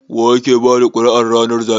wa yake bada kuri'ar ranar zabe?